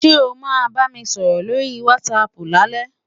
Ṣé o máa bá mi sọ̀rọ̀ lórí wásaàpù lálẹ́?